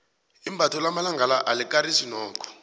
imbatho lamalanga la alikarisi nokho